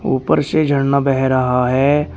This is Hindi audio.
उपर से झरना बह रहा है।